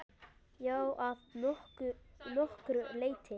Já, að nokkru leyti.